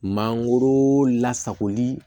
Mangoro lasagoli